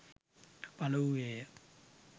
පළ වූයේ ය.